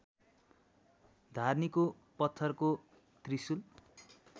धार्नीको पत्थरको त्रिशुल